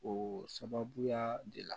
O sababuya de la